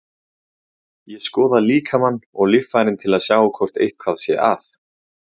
Ég skoða líkamann og líffærin til að sjá hvort eitthvað sé að.